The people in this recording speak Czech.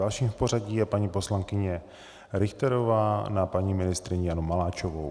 Další v pořadí je paní poslankyně Richterová na paní ministryni Janu Maláčovou.